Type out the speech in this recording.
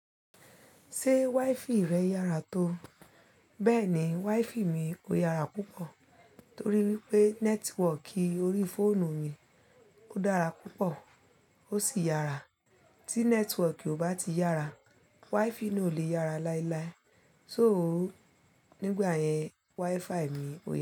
Ṣé waifi rẹ yára tó? Bẹ́ẹ̀ni, waifi mi ó yára púpọ̀ torí wípé nẹ́tíwọkì orí fóònù mi ó dára púpọ̀ ó sì yára. Tí nẹ́tíwọkì ò bá ti yára, waifi náà ò le yára láíláí. So óò nígbà yẹn waifai mi ó yára.